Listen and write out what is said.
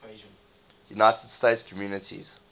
united states communities